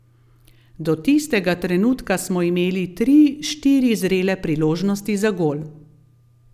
Do tistega trenutka smo imeli tri, štiri zrele priložnosti za gol.